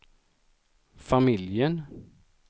familjen